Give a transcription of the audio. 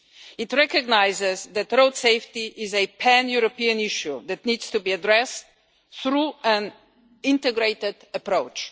It recognises that road safety is a pan European issue that needs to be addressed through an integrated approach.